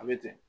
A bɛ ten